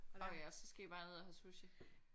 Orh ja så skal I bare ned og have sushi